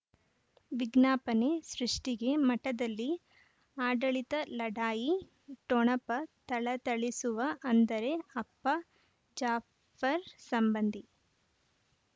ವಿಜ್ಞಾಪನೆ ಸೃಷ್ಟಿಗೆ ಮಠದಲ್ಲಿ ಆಡಳಿತ ಲಢಾಯಿ ಠೊಣಪ ಥಳಥಳಿಸುವ ಅಂದರೆ ಅಪ್ಪ ಜಾಫರ್ ಸಂಬಂಧಿ